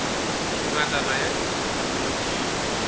ngatana ya dipuku mo ke